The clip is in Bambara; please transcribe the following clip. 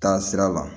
Taa sira la